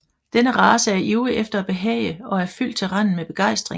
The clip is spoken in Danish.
Denne race er ivrig efter at behage og er fyldt til randen med begejstring